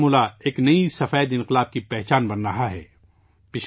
پورا بارہمولہ ایک نئے سفید انقلاب کی پہچان بن رہا ہے